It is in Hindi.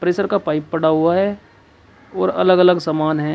प्रेशर का पाइप पड़ा हुआ है और अलग अलग समान है।